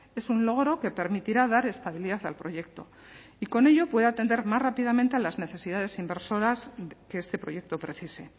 es un logro que permitirá dar estabilidad al proyecto y con ello pueda atender más rápidamente a las necesidades inversoras que este proyecto precise